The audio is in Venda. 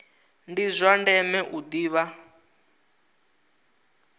ndi zwa ndeme u ḓivha